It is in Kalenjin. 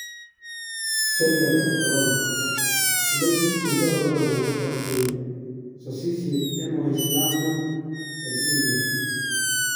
Selyat-ap Korona : olegi ityoldo corona kochap koet sasisiet en waislamwek en India